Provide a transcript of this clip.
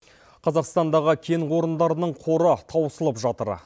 қазақстандағы кен орындарының қоры тауысылып жатыр